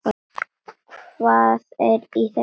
Hvað er í þessum bökkum?